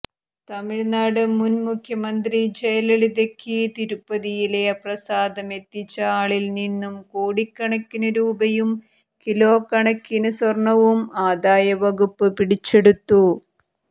തമിഴ്നാട് മുന് മുഖ്യമന്ത്രി ജയലളിതയ്ക്ക് തിരുപ്പതിയിലെ പ്രസാദമെത്തിച്ച ആളിൽ നിന്നും കോടിക്കണക്കിനു രൂപയും കിലോക്കണക്കിന് സ്വർണ്ണവും ആദായവകുപ്പ് പിടിച്ചെടുത്തു